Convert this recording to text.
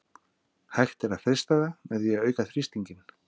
Hægt er að frysta það með því að auka þrýstinginn.